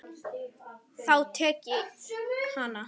Þá tek ég hann!